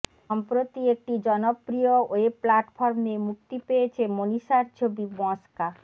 সম্প্রতি একটি জনপ্রিয় ওয়েব প্ল্যাটফর্মে মুক্তি পেয়েছে মনীষার ছবি মসকা